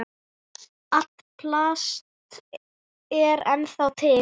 Allt plast er ennþá til.